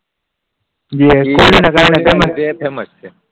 એ ધોનીના કારણે ફેમસ છે